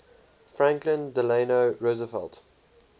franklin delano roosevelt